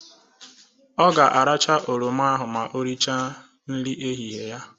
Ọ ga-aracha oroma ahụ ma oricha nri ehịhịe ya.